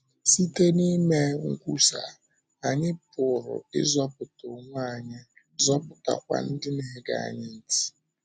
Site n’ime nkwúsa, anyị pụrụ ịzọpụta onwe anyị, zọpụtakwa ndị na-ege anyị ntị.